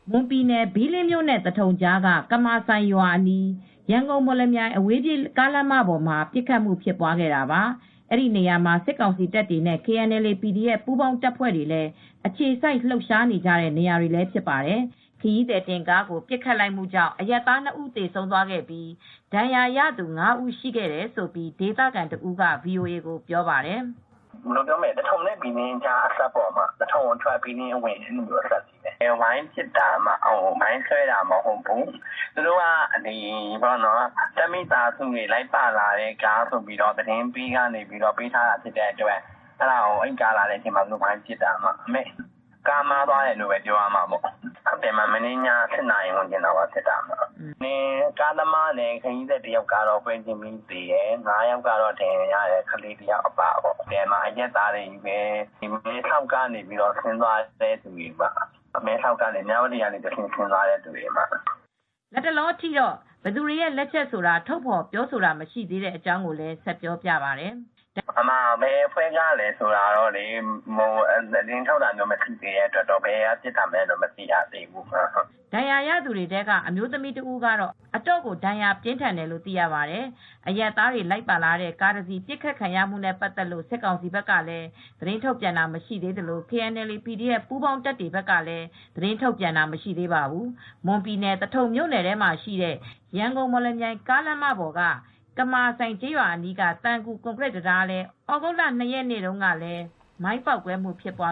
မွန်ပြည်နယ်၊ ဘီလင်းမြို့နဲ့သထုံကြားက ကမာစိုင်ရွာအနီး ရန်ကုန်-မော်လမြိုင် အဝေးပြေးကားလမ်းမပေါ်မှာ ပစ်ခတ်မှုဖြစ်ခဲ့တာပါ ။ ဒီနေရာမှာစစ်ကောင်စီတပ်တွေနဲ့ KNLA /PDF တပ်တွေ လည်း အခြေစိုက်လှုပ်ရှားနေကြတဲ့နေရာတွေလည်းဖြစ်ပါတယ် ။ ခရီးသည်တင်ကားကိုပစ်ခတ်မူ့ကြောင့်အရပ်သား ၂ဦးသေဆုံးသွားပြီး ဒဏ်ရာရသူ ၅ဦးရှိခဲ့တယ်လို့ဒေသခံတဦးကVOA ကိုပြောပါတယ်။ "သထုံနဲ့ဘီလင်းကြား သထုံအထွက် ဘီးလင်းအဝင်နားမှာဖြစ်တာပါ၊ ဝိုင်းပစ်တာပါ မိုင်းဆွဲတာမဟုတ်ဘူး။ တပ်မိသားစုတွေလာတဲ့ကားဆိုပြီးသတင်းပေးကသတင်းပေးထားတဲ့အတွက် ဝိုင်းပစ်တာပါ ကားမှားသွားတယ်လို့ပဲပြောရမှာပေါ့၊ ကားသမားနဲ့ခရီးသည်တဦးကတော့ပွဲချင်းပြီးသေတယ်၊ မနေ့ည ၈နာရီဝန်းကျင်လောက်ကဖြစ်တာပါ ကားသမားနဲ့ခရီးသည်တဦးကပဲွချင်းပြီးသေဆုံးပြီးခရီးသည် ၅ဦဒဏ်ရာရတယ် ကလေးတဦးအပါအဝင်ပေါ့ အရပ်သားတွေချည်းပဲ မဲဆောက်ကနေ မြ၀တီ အဲဒီကနေ ဆင်းသွားတဲ့သူတွေပါ" လတ်တလောအထိတော့ဘယ်သူတွေရဲ့လက်ချက်ဆိုတာထုတ်ဖော်ပြောဆိုတာမရှိသေးတဲ့အကြောင်းကိုလည်းပြောပါတယ်။ "ဘယ်အဖွဲ့ကပစ်သလဲဆိုတာတော့သတင်းထုတ်ပြန်တာမရှိသေးတဲ့အတွက် ဘယ်သူတွေပစ်လဲဆိုတာတော့မသိသေးပါဘူး" ဒဏ်ရာရသူတွေထဲက အမျိုးသမီးတဦးကတော့အတော်ကိုဒဏ်ရာပြင်းထန်တယ်လို့သိရပါတယ်၊အရပ်သားတွေ လိုက်ပါလာတဲ့ကားတစီးပစ်ခတ်ခံရမှုနဲ့ပတ်သက်လို့ စစ်ကောင်စီဘက်ကလည်းသတင်းထုတ်ပြန်တာမရှိသေးသလို KNLA/PDF ပူးပေါင်းတပ်တွေတွေကလည်း သတင်းထုတ်ပြန်တာမရှိသေးပါဘူး။ မွန်ပြည်နယ်၊ သထုံမြို့နယ်ထဲမှာရှိတဲ့ ရန်ကုန်-မော်လမြိုင်ကားလမ်းပေါ်က ကမာစိုင်ကျေးရွာအနီးက သံကူ ကွန်ကရစ်တံတားလည်း ဩဂုတ်လ ၂ရက် နေ့တုန်းကလည်း မိုင်းပေါက်ကွဲမှုဖြစ်ခဲ့ပါ